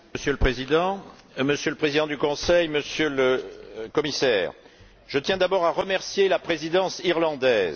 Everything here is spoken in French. Monsieur le Président, Monsieur le Président du Conseil, Monsieur le Commissaire, je tiens d'abord à remercier la Présidence irlandaise.